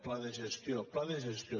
pla de gestió pla de gestió